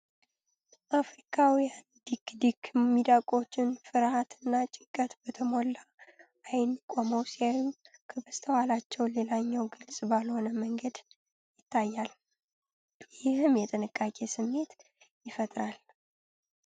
አፍሪካዊው ዲክ-ዲክ ሚዳቆዎች ፍርሃት እና ጭንቀት በተሞላ ዓይን ቆመው ሲታዩ፣ ከበስተኋላው ሌላኛው ግልጽ ባልሆነ መንገድ ይታያል፤ ይህም የጥንቃቄ ስሜት ይፈጥራል።